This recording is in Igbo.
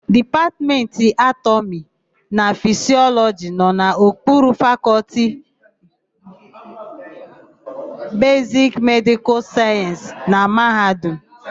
Dipatmentị Anatọmị na Fisịọlọjị nọ n'okpuru Fakọlti Besiki Medịkal Sayensị na mahadum.